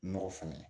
Nɔgɔ fɛnɛ